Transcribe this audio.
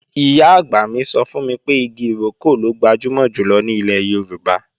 Ìyá-àgbà mi sọ fún mi pé igi ìrókò ló gbajúmọ̀ jùlọ ní ilẹ̀ Yorùbá